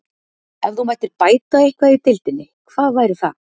Ef þú mættir bæta eitthvað í deildinni, hvað væri það?